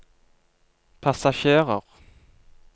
passasjerer